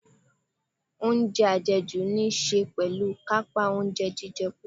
Oúnjẹ àjẹjù níí ṣe pẹ̀lú kàńpá oúnjẹ jíjẹ púpọ̀.